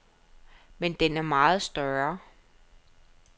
Men den er meget større.